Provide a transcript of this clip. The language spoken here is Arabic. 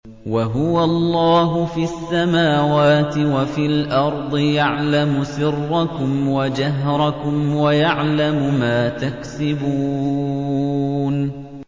وَهُوَ اللَّهُ فِي السَّمَاوَاتِ وَفِي الْأَرْضِ ۖ يَعْلَمُ سِرَّكُمْ وَجَهْرَكُمْ وَيَعْلَمُ مَا تَكْسِبُونَ